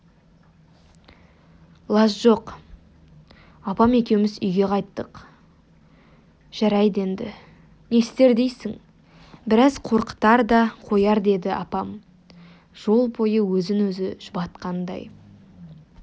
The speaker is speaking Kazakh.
лаж жоқ апам екеуміз үйге қайттық жарайды енді не істер дейсің біраз қорқытар да қояр деді апам жол бойы өзін-өзі жұбатқандай